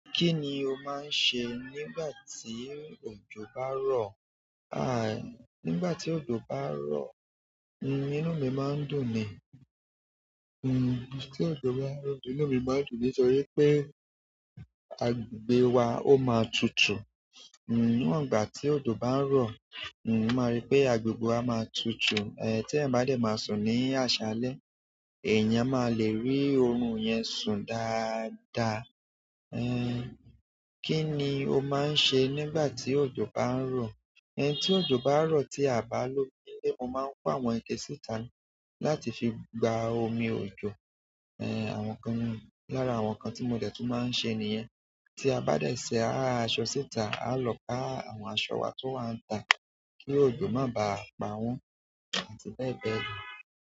Kí ni o máa ń se nígbà tí òjò bá ń rọ̀? Aí, nígbà tí òjò bá ń rọ̀, inú mi máa ń dùn ni. Tí òjò bá ń rọ̀, inú mi máa ń dùn nítorí pé agbè wa ó máa tutù. Nígbà tí òjò bá ń rọ̀, mo máa rí pé agbègbè wa máa tutu. Ehn ti eyan ba de ma sun ni asale, eyan ma le ri orun yen sun daada. Eh, kí ni o máa ń ṣe nígbà tí òjò bá ń rọ̀? Eh, tí òjò bá ń rọ̀ tí a bá ló ilé, mo máa ń kó àwọn ike síta láti fi gba omi òjò. Eh, àwọn kan lára àwọn nǹkan tí mo dẹ̀ tún máa ń ṣe nìyẹn. Tí a bá dẹ̀ ṣa àwọn aṣọ síta, á lọ ká àwọn aṣọ wa tó wà níta kí òjò má bá pa wọ́n àti bẹ́ẹ̀ bẹ́ẹ̀ lọ.